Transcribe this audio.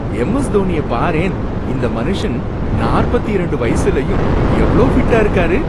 M S தோனிய பாரேன், இந்த மனுஷன் நாற்பத்து இரண்டு வயசுலயும் எவ்ளோ ஃபிட்டா இருக்காரு